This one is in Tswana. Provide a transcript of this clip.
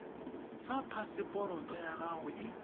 fa phaseporoto ya gago e